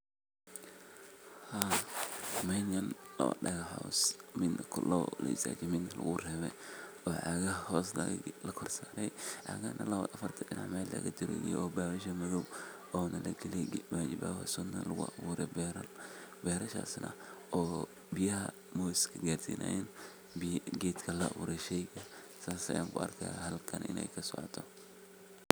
Marka wacyigelinta la sameeyo, talaabada labaad waxay noqonaysaa in la diyaariyo dhul ku habboon beeraleynta. Bulshada waa in laga qaybgeliyo diyaarinta beerta, iyagoo loo qaybiyo shaqooyinka sida nadiifinta dhulka, qodista godadka lagu beerayo, iyo diyaarinta abuurka la rabo in la beero. Intaa kadib, waa in la helo tababarro lagu baranayo sida ugu fiican ee loo beero geedaha ama dalagyada la doonayo. Tababarradan waxaa laga heli karaa khubaro deegaanka ah ama hay’adaha ka shaqeeya arrimaha beeraleynta.